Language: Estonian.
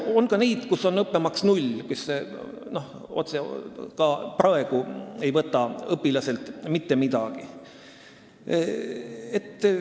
On ka neid koole, kus õppemaks on null, st nad ka praegu ei võta õpilaselt mitte midagi.